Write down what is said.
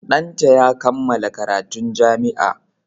Ɗanta ya kammala karatun jami'a.